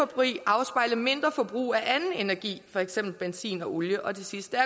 men mindre forbrug af anden energi for eksempel benzin og olie og det sidste